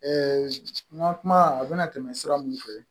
n ka kuma a bɛna tɛmɛ sira mun fɛ